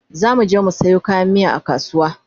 zamuje mu Sayo kayan miya a kasuwa